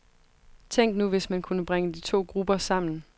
Tænk nu hvis man kunne bringe de to grupper sammen.